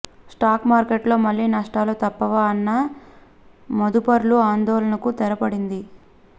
stock మార్కెట్లో మళ్లీ నష్టాలు తప్పవా అన్న మదుపర్ల ఆందోళనకు తెరపడింది